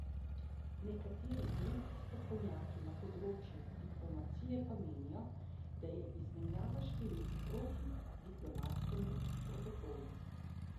Nekateri drugi strokovnjaki na področju diplomacije pa menijo, da je izmenjava številk proti diplomatskemu protokolu.